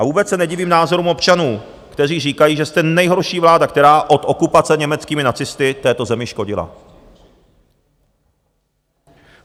A vůbec se nedivím názorům občanů, kteří říkají, že jste nejhorší vláda, která od okupace německými nacisty této zemi škodila.